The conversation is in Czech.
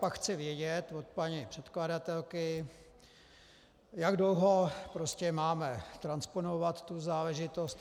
Pak chci vědět od paní předkladatelky, jak dlouho prostě máme transponovat tu záležitost.